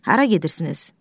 Hara gedirsiniz?